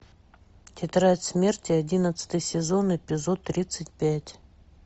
тетрадь смерти одиннадцатый сезон эпизод тридцать пять